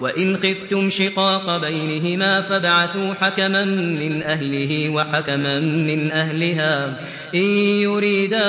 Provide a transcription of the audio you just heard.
وَإِنْ خِفْتُمْ شِقَاقَ بَيْنِهِمَا فَابْعَثُوا حَكَمًا مِّنْ أَهْلِهِ وَحَكَمًا مِّنْ أَهْلِهَا إِن يُرِيدَا